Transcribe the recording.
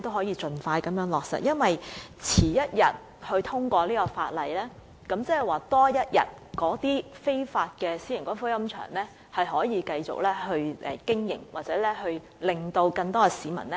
因為這項《條例草案》遲一天通過，便代表那些非法私營龕場可以多經營一天，甚或令更多市民受害。